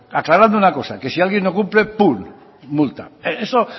aclarando una cosa que si alguien no cumple pun multa eso